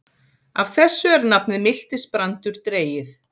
Af þessu er nafnið miltisbrandur dregið.